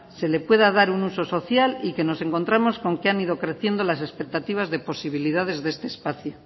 se le pueda dar un uso social y que nos encontramos con que han ido creciendo las expectativas de posibilidades de este espacio